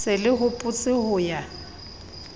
se le hopotse ho ya